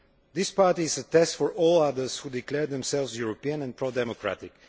This party is a test for all others who declare themselves European and pro democratic.